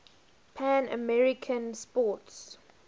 pan american sports